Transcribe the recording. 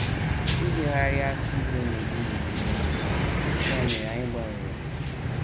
Ịhịọgharị aka ibo na - egbu m mgbu n’aka, ya mere anyị gbanwere ha.